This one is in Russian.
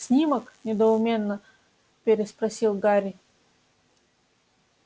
снимок недоуменно переспросил гарри